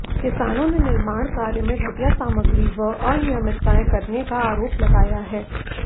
किसानों ने निर्माण कार्य में घटिया सामग्री व अनियमितताएं करने का आरोप लगाया है